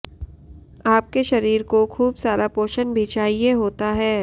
आपके शरीर को खूब सारा पोषण भी चाहिये होता है